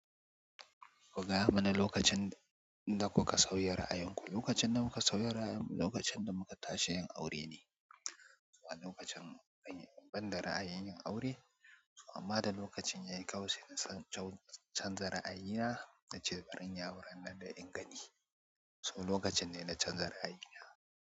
Ku gaya mana lokacin da kuka sauya ra'ayinku. Lokacin da muka sauya ra'ayinmu lokacin da muka tashi yin aure ne. Wani lokacin ban da ra'ayin yin aure so amma da lokacin ya yi ƙawai sai na canza ra'ayina na ce bari inyi auren in gani. So lokacin ne na canza ra'ayina.